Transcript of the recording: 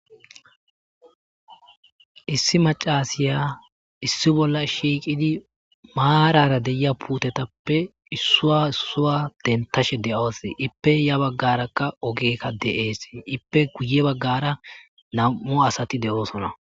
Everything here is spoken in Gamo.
Issi macasiya issi bolla shiiqidi maarara deia puutetappe issua issuwa dentashe de7ose ippe ya baggarakka ogekka deeesi ippe guye baggara nam7u asati de7oosona.